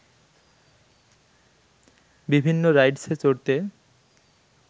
বিভিন্ন রাইডসে চড়তে